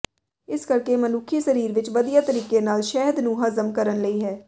ਇਸ ਕਰਕੇ ਮਨੁੱਖੀ ਸਰੀਰ ਵਿੱਚ ਵਧੀਆ ਤਰੀਕੇ ਨਾਲ ਸ਼ਹਿਦ ਨੂੰ ਹਜ਼ਮ ਕਰਨ ਲਈ ਹੈ